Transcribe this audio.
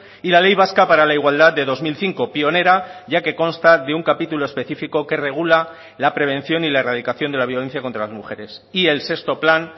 y la ley vasca para la igualdad de dos mil cinco pionera ya que consta de un capítulo específico que regula la prevención y la erradicación de la violencia contra las mujeres y el sexto plan